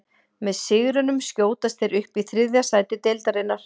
Með sigrinum skjótast þeir upp í þriðja sæti deildarinnar.